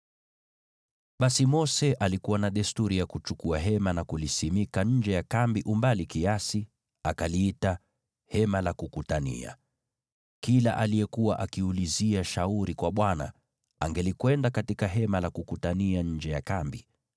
Basi Mose alikuwa na desturi ya kuchukua hema na kuliweka wakfu nje ya kambi umbali kiasi, akaliita “Hema la Kukutania.” Kila aliyekuwa akiulizia shauri kwa Bwana , angelikwenda katika Hema la Kukutania nje ya kambi.